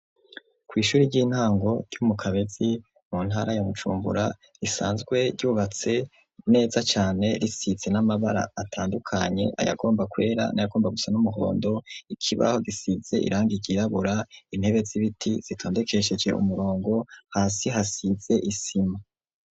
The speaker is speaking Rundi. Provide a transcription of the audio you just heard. Kw'ishuri ry'intango ryo mu Kabezi mu ntara ya Bujumbura risanzwe ryubatse neza cane risize n'amabara atandukanye: ayagomba kwera n'ayagomba gusa n'umuhondo, ikibaho gisize irangi ryirabura, intebe z'ibiti zitondekesheje umurongo, hasi hasize isima.